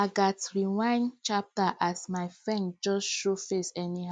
i gats rewind chapter as my friend just show face anyhow